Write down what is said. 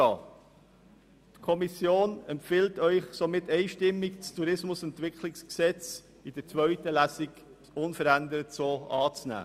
Die Kommission empfiehlt Ihnen somit einstimmig, das Tourismusentwicklungsgesetz in der zweiten Lesung unverändert so anzunehmen.